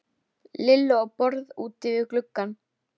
Böddi beið okkar með rakkann við hlið sér í flæðarmálinu.